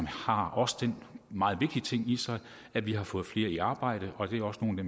har også den meget vigtige ting i sig at vi har fået flere i arbejde og det er også nogle af